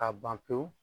A ban pewu